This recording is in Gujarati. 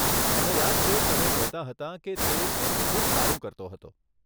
મને યાદ છે, તમે કહેતા હતાં કે તે એમાં ખૂબ સારું કરતો હતો.